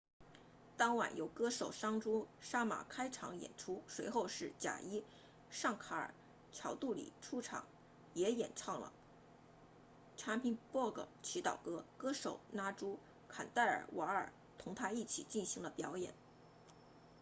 当晚由歌手桑朱沙玛 sanju sharma 开场演出随后是贾伊尚卡尔乔杜里 jai shankar choudhary 出场也演唱了 chhappan bhog 祈祷歌歌手拉朱坎戴尔瓦尔 raju khandelwal 同他一起进行了表演